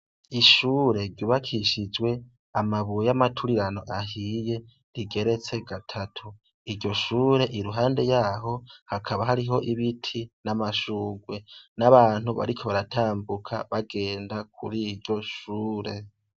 Ishure ryubakishijwe amabuye y'amaturirano ahiye rigeretse gatatu iryo shure iruhande yaho hakaba hariho ibiti n'amashurwe n'abantu bariko baratambuka bagenda kuri iryo shure.